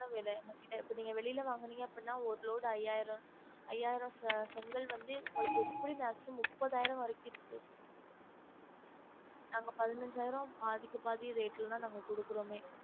விலை இப்ப நீங்க வெளிய வாங்குநீங்கனா அப்டினா ஒரு load ஐயாயிரம் ஐயாயிரம் செ~ செங்கல் வந்து உங்களுக்கு எப்டியும் maximum முப்பதாயிரம் வரைக்கும் இருக்கு நாங்க பதினைஞ்சாயிரம் பாதிக்கு பாதி rate ல தான் நாங்க கொடுக்குறோமே